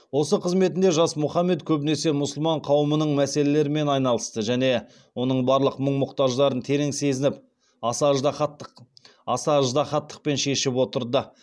осы қызметінде жас мұхаммед көбінесе мұсылман қауымының мәселелерімен айналысты және оның барлық мұң мұқтаждарын терең сезініп аса ыждағаттықпен шешіп отырды